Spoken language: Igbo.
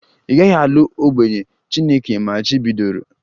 Ị gaghị alụ onye ogbenye! Chineke machibidoro